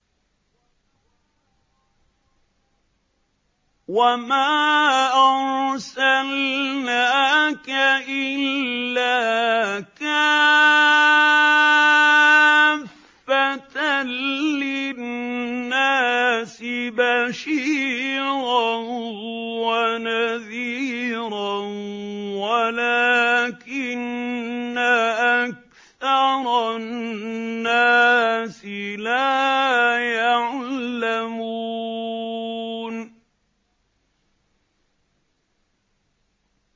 وَمَا أَرْسَلْنَاكَ إِلَّا كَافَّةً لِّلنَّاسِ بَشِيرًا وَنَذِيرًا وَلَٰكِنَّ أَكْثَرَ النَّاسِ لَا يَعْلَمُونَ